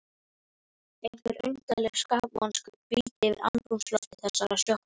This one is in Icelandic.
Einhver undarleg skapvonska hvíldi yfir andrúmslofti þessarar sjoppu.